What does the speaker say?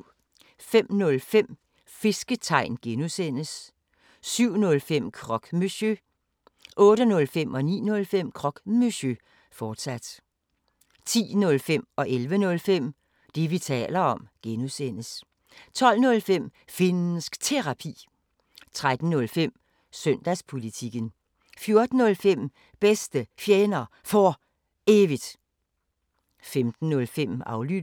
05:05: Fisketegn (G) 07:05: Croque Monsieur 08:05: Croque Monsieur, fortsat 09:05: Croque Monsieur, fortsat 10:05: Det, vi taler om (G) 11:05: Det, vi taler om (G) 12:05: Finnsk Terapi 13:05: Søndagspolitikken 14:05: Bedste Fjender For Evigt 15:05: Aflyttet